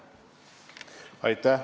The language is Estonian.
Aitäh!